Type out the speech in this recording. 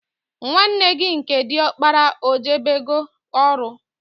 Nwanne gị nke diọkpara ọ jebego ọrụ?